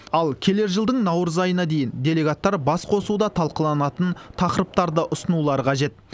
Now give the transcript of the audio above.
ал келер жылдың наурыз айына дейін делегаттар басқосуда талқыланатын тақырыптарды ұсынулары қажет